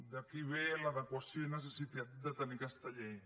d’aquí ve l’adequació i necessitat de tenir aquesta llei